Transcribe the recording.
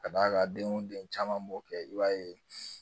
Ka d'a kan denw den caman b'o kɛ i b'a ye